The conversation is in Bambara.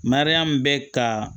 Mariyamu bɛ ka